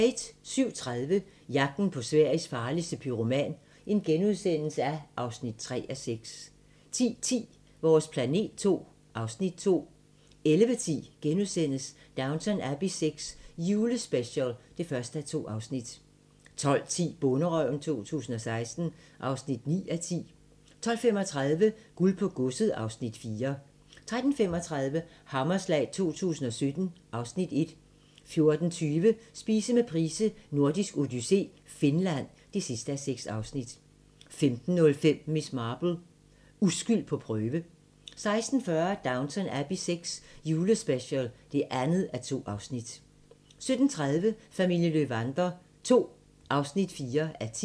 07:30: Jagten på Sveriges farligste pyroman (3:6)* 10:10: Vores planet II (Afs. 2) 11:10: Downton Abbey VI - julespecial (1:2)* 12:10: Bonderøven 2016 (9:10) 12:35: Guld på godset (Afs. 4) 13:35: Hammerslag 2017 (Afs. 1) 14:20: Spise med Price: Nordisk Odyssé - Finland (6:6) 15:05: Miss Marple: Uskyld på prøve 16:40: Downton Abbey VI – julespecial (2:2) 17:30: Familien Löwander II (4:10)